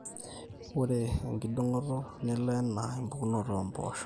ore enkidong'oto nelo enaa empukunoto empooshoi